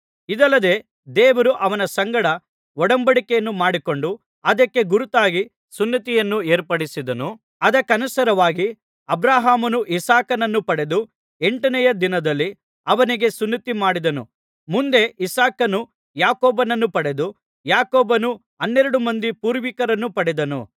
ಇದಲ್ಲದೆ ದೇವರು ಅವನ ಸಂಗಡ ಒಡಂಬಡಿಕೆಯನ್ನು ಮಾಡಿಕೊಂಡು ಅದಕ್ಕೆ ಗುರುತಾಗಿ ಸುನ್ನತಿಯನ್ನು ಏರ್ಪಡಿಸಿದನು ಅದಕ್ಕನುಸಾರವಾಗಿ ಅಬ್ರಹಾಮನು ಇಸಾಕನನ್ನು ಪಡೆದು ಎಂಟನೆಯ ದಿನದಲ್ಲಿ ಅವನಿಗೆ ಸುನ್ನತಿಮಾಡಿದನು ಮುಂದೆ ಇಸಾಕನು ಯಾಕೋಬನನ್ನು ಪಡೆದನು ಯಾಕೋಬನು ಹನ್ನೆರಡು ಮಂದಿ ಪೂರ್ವಿಕರನ್ನು ಪಡೆದನು